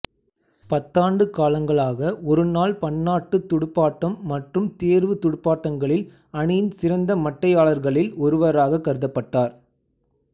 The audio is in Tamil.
பத்தாண்டு காலங்களாக ஒருநாள் பன்னாட்டுத் துடுப்பாட்டம் மற்றும் தேர்வுத் துடுப்பாட்டங்களில் அணியின் சிறந்த மட்டையாளர்களில் ஒருவராகக் கருதப்பட்டார்